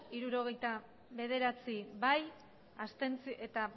hirurogeita bederatzi abstentzioak